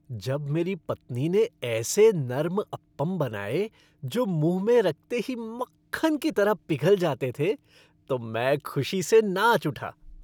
जब मेरी पत्नी ने ऐसे नर्म अप्पम बनाए जो मुँह में रखते ही मक्खन की तरह पिघल जाते थे तो मैं खुशी से नाच उठा।